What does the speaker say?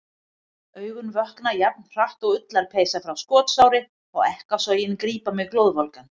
Augun vökna jafn hratt og ullarpeysa frá skotsári og ekkasogin grípa mig glóðvolgan.